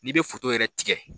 N'i bɛ foto yɛrɛ tigɛ.